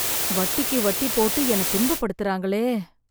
வட்டிக்கு வட்டி போட்டு என்னை துன்ப படுத்தறாங்களே.